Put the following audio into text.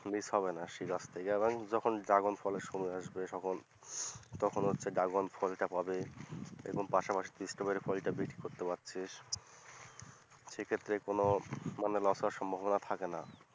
miss হবে না সেই গাছ থেকে এবং যখন ড্রাগন ফলের সময় আসবে তখন তখন হচ্ছে ড্রাগন ফলটা পাবি এবং পাশাপাশি তুই স্ট্রবেরি ফলটা বিক্রি করতে পারছিস, সেক্ষেত্রে মানে কোন loss হওয়ার সম্ভবনা থাকে না।